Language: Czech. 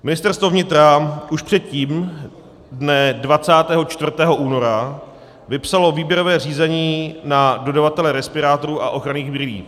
Ministerstvo vnitra už předtím dne 24. února vypsalo výběrové řízení na dodavatele respirátorů a ochranných brýlí.